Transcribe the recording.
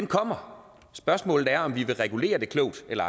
kommer spørgsmålet er om vi vil regulere det klogt eller